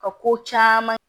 Ka ko caman